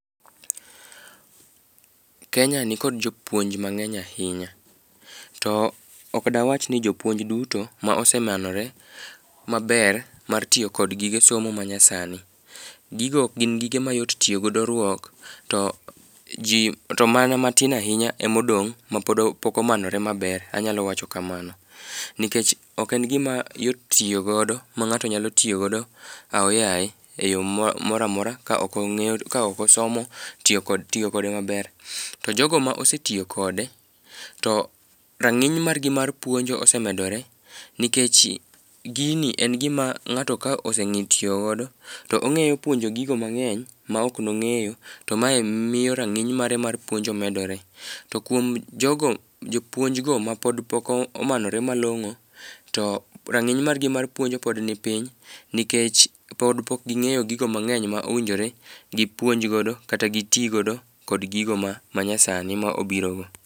Kenya nikod jopuonj mang'eny ahinya. To ok dawach ni jopuonj duto ma osemanore maber mar tiyo kod gige somo manyasani. Gigo ok gin gige mayot tiyo godo ruok to mana matin ahinya emodong' mapod pok omanore maber, nikech ok en gima yot tiyo godo ma ng'ato nyalo tiyo godo aoyaye e yo mora mora, ka ok osomo tiyo kode maber. To jogo ma osetiyo kode, to rang'iny margi mar puonjo osemedore nikech gini en gima ng'ato ka oseng'e tiyo godo, to ong'eyo puonjo gigo mang'eny ma ok nong'eyo to mae miyo rang'iny mare mar puonjo medore. To kuom jopuonjgo mapod pok omanore malong'o, to rang'iny margi mar puonjo pod nipiny, nikech pod pok ging'eyo gigo mang'eny ma owinjore gipuonj godo kata giti godo kod gigo ma manyasani ma obiro go.